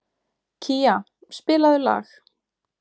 Kía, spilaðu lag.